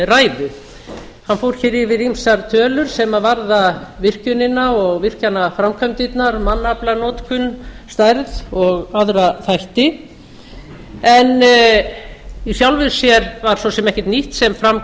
ræðu hann fór hér yfir ýmsar tölur sem varða virkjunina og virkjunarframkvæmdirnar mannaflanotkun stærð og aðra þætti en í sjálfu sér svo sem ekkert nýtt sem fram